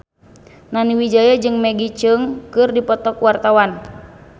Nani Wijaya jeung Maggie Cheung keur dipoto ku wartawan